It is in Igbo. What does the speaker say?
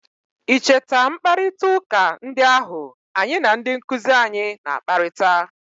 i cheta mkparịta ụka ndị ahụ anyi na ndị nkuzi anyị na-akparịta?